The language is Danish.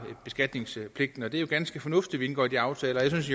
beskatningspligten og det er jo ganske fornuftigt indgår de aftaler jeg synes